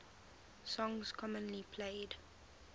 songs commonly played